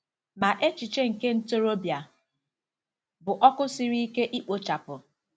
Ma echiche nke ntorobịa bụ ọkụ siri ike ikpochapụ.